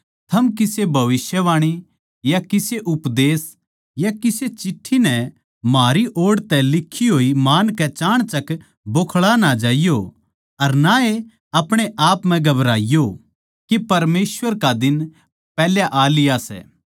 थम किसे भविष्यवाणी या किसे उपदेश या किसे चिट्ठी नै म्हारी ओड़ तै लिखी होई मानकै चाणचक बोखळा ना जाइयो अर ना ए आपणे आप म्ह घबराईयो के परमेसवर का दिन पैहले ए आ लिया सै